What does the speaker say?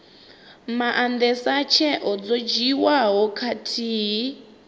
maandesa tsheo dzo dzhiiwaho khathihi